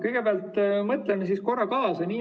Kõigepealt mõtleme siis korra kaasa.